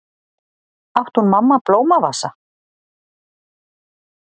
Átti hún mamma blómavasa?